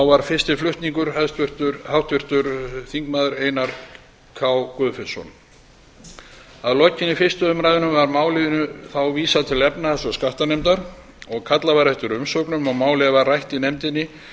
var fyrsti flutningsmaður háttvirtur þingmaður einar k guðfinnsson að lokinni fyrstu umræðu var málinu þá vísað til efnahags og skattanefndar kallað eftir umsögnum og málið var rætt í nefndinni